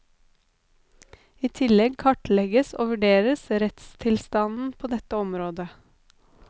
I tillegg kartlegges og vurderes rettstilstanden på dette området.